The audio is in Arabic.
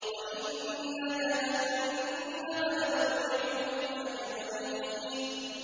وَإِنَّ جَهَنَّمَ لَمَوْعِدُهُمْ أَجْمَعِينَ